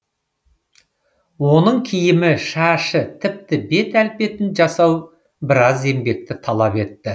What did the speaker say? оның киімі шашы тіпті бет әлпетін жасау біраз еңбекті талап етті